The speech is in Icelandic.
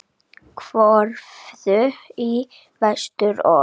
Horfðu í vestur og.